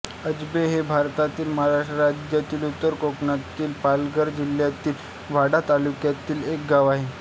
आब्जे हे भारतातील महाराष्ट्र राज्यातील उत्तर कोकणातील पालघर जिल्ह्यातील वाडा तालुक्यातील एक गाव आहे